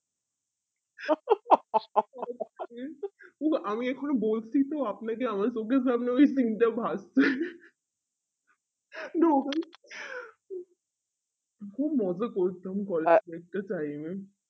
উ আমি এখানি বলছি তো আপনাকে আমার চোখের সামনে ওই scene টা ভাসছে খুব মজা করতাম collage এর একটা time এ